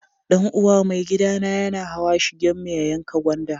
Dan uwa maigida na yana hawa shigen mu ya yanka gwanda.